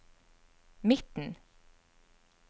midten